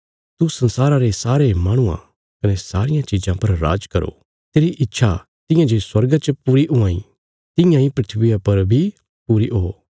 तू संसारा रे सारे माहणुआं कने सारियां चिज़ां पर राज करो तेरी इच्छा तियां जे स्वर्गा च पूरी हुआं इ तियां इ धरतिया पर बी पूरी ओ